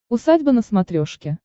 усадьба на смотрешке